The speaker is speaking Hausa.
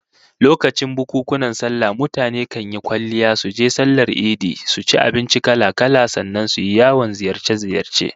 Lokacin bukunkunan sallah mutane kan yi kwalliya suje sallar idi, su ci abinci kala-kala, sannan su yi yawon ziyarce-ziyarce